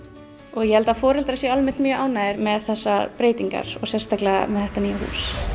og ég held að foreldrar séu almennt mjög ánægðir með þessar breytingar og sérstaklega þetta nýja hús